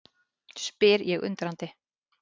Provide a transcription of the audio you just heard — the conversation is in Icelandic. spyr ég undrandi.